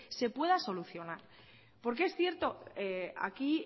se pueda solucionar porque es cierto aquí